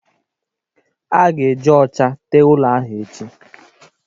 A ga-eji ocha tee ụlọ ahụ echi